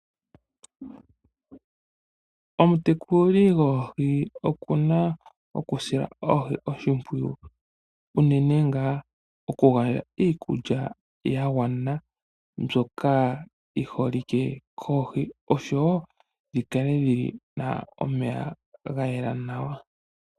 Omutekuli goohi okuna okusila oohi oshimpwiyu uunene ngaa okugandja iikulya ya gwana mbyoka yi holike koohi oshowo dhi kale dhina omeya ga yela nawa.